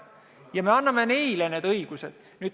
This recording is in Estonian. Ja me anname neile need õigused.